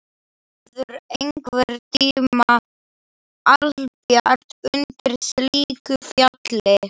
Hann þótti góður í viðskiptaferðum eða til lántöku.